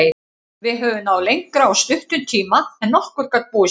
Við höfum náð lengra á stuttum tíma en nokkur gat búist við.